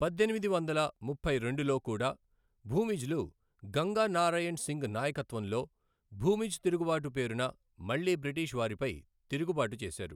పద్దెనిమిది వందల ముప్పై రెండులో కూడా భూమిజ్లు గంగా నారాయణ్ సింగ్ నాయకత్వంలో భూమిజ్ తిరుగుబాటు పేరున మళ్ళీ బ్రిటిష్ వారిపై తిరుగుబాటు చేశారు.